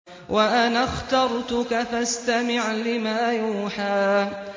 وَأَنَا اخْتَرْتُكَ فَاسْتَمِعْ لِمَا يُوحَىٰ